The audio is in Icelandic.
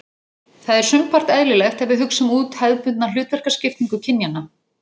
Það er sumpart eðlilegt ef við hugsum út hefðbundna hlutverkaskiptingu kynjanna.